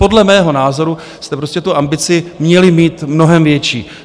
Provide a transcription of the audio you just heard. Podle mého názoru jste prostě tu ambici měli mít mnohem větší.